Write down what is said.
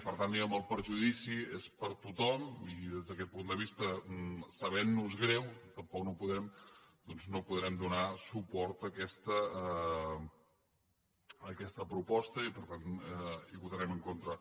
per tant diguemne el perjudici és per a tothom i des d’aquest punt de vista sabentnos greu tampoc no podrem donar suport a aquesta proposta i per tant hi votarem en contra